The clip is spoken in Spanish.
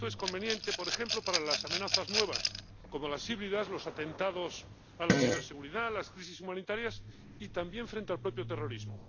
Esto es conveniente, por ejemplo, para las amenazas nuevas, como las híbridas, los atentados a la ciberseguridad, las crisis humanitarias y también frente al propio terrorismo.